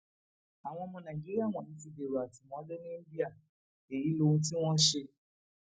àwọn ọmọ nàìjíríà wọnyí ti dèrò àtìmọlé ní íńdíà èyí lohun tí wọn ṣe